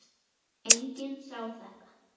Enginn sá þetta.